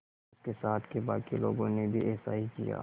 उसके साथ के बाकी लोगों ने भी ऐसा ही किया